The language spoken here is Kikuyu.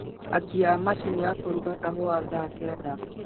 akia macini ya kũruga kahũa thaa kenda